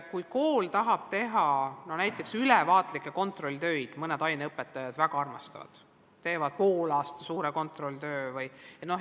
Kool võib tahta teha ka näiteks ülevaatlikke kontrolltöid, mõned aineõpetajad väga armastavad neid ja teevad poolaasta kohta suure kontrolltöö vms.